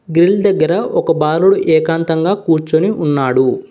Grill దగ్గర ఒక బాలుడు ఏకాంతంగా కూర్చొని ఉన్నాడు.